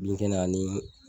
Bin kɛnɛ ani